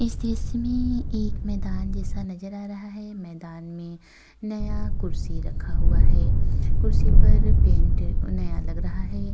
इस दृश्य में एक मैंदान जैसा नजर आ रहा है। मैंदान में नया कुर्सी रखा हुआ है। कुर्सी पर पेंट ऊं नया लग रहा है।